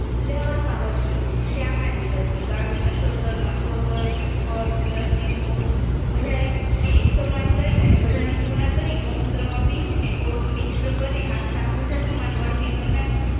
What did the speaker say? ઉદાવારમાં વર્તીયોગો શ્યામાદિવર્તી કાળોનસોતર પીપર દંતિમૂડ બધાયને એક સમાન લઈ અને બધાનું ચૂર્ણ કરી અને ગૌમૂત્રમાં પીસીને ગોળ મિશ્ર કરીને હાથના અંગૂઠા સમાન વર્તી બનાવી